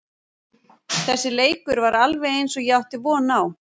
Þessi leikur var alveg eins og ég átti von á.